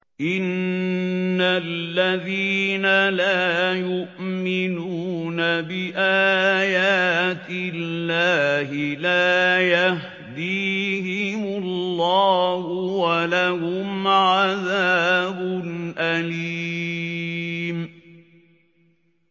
إِنَّ الَّذِينَ لَا يُؤْمِنُونَ بِآيَاتِ اللَّهِ لَا يَهْدِيهِمُ اللَّهُ وَلَهُمْ عَذَابٌ أَلِيمٌ